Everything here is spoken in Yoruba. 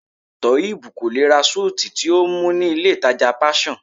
Toheeb kò lè ra suit tí ó mú ní ilé ìtàjà Passion.